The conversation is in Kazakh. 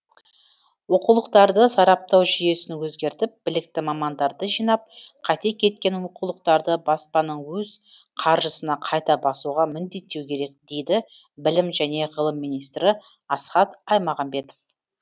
оқулықтарды сараптау жүйесін өзгертіп білікті мамандарды жинап қате кеткен оқулықтарды баспаның өз қаржысына қайта басуға міндеттеу керек дейді білім және ғылым министрі асхат аймағамбетов